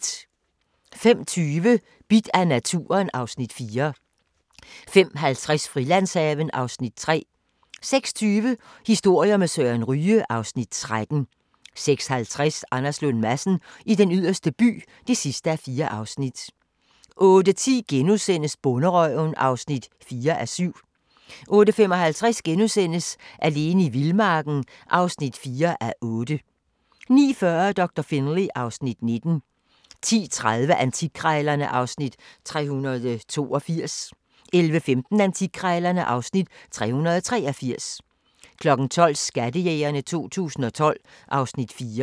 05:20: Bidt af naturen (Afs. 4) 05:50: Frilandshaven (Afs. 3) 06:20: Historier med Søren Ryge (Afs. 13) 06:50: Anders Lund Madsen i Den Yderste By (4:4) 08:10: Bonderøven (4:7)* 08:55: Alene i vildmarken (4:8)* 09:40: Doktor Finlay (Afs. 19) 10:30: Antikkrejlerne (Afs. 382) 11:15: Antikkrejlerne (Afs. 383) 12:00: Skattejægerne 2012 (Afs. 4)